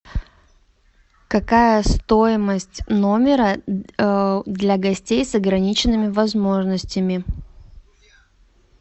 какая стоимость номера для гостей с ограниченными возможностями